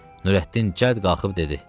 Nurəddin cəld qalxıb dedi.